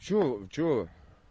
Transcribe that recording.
чего чего